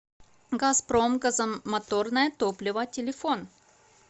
газпром газомоторное топливо телефон